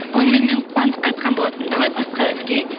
оны мен қуандыққа айтқан болатынмын давай басқа әнге